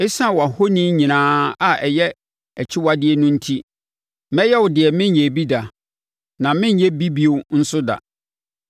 Esiane wʼahoni nyinaa a ɛyɛ akyiwadeɛ no enti, mɛyɛ wo deɛ menyɛɛ bi da, na merenyɛ bi bio nso da.